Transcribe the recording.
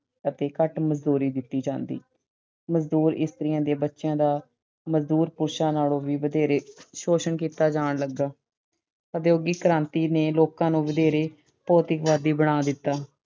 ਅਤੇ ਘੱਟ ਮਜ਼ਦੂਰੀ ਦਿੱਤੀ ਜਾਂਦੀ। ਮਜ਼ਦੂਰ ਇਸਤਰੀ ਦੇ ਬੱਚਿਆਂ ਦਾ ਮਜ਼ਦੂਰ ਪੁਰਸ਼ ਦੇ ਬੱਚਿਆਂ ਨਾਲੋਂ ਵੀ ਵਧੇਰੇ ਸ਼ੋਸ਼ਣ ਕੀਤਾ ਜਾਣ ਲੱਗਾ। ਉਦਯੋਗਿਕ ਕ੍ਰਾਂਤੀ ਨੇ ਲੋਕਾਂ ਨੇ ਵਧੇਰੇ ਭੌਤਿਕਵਾਦੀ ਬਣਾ ਦਿੱਤਾ